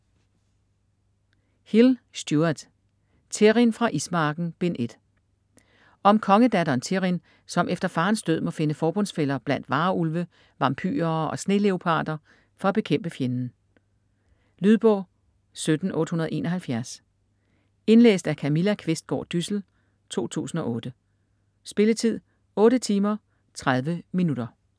Hill, Stuart: Thirrin fra Ismarken: Bind 1 Om kongedatteren Thirrin, som efter farens død må finde forbundsfæller blandt varulve, vampyrer og sneleoparder for at bekæmpe fjenden. Lydbog 17871 Indlæst af Camilla Qvistgaard Dyssel, 2008. Spilletid: 8 timer, 30 minutter.